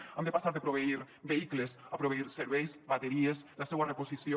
hem de passar de proveir vehicles a proveir serveis bateries la seua reposició